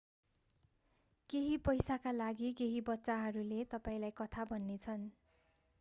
केही पैसाका लागि केहि बच्चाहरूले तपाईंलाई कथा भन्नेछन्